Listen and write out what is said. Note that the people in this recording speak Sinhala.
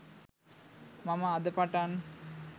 මම අද පටන්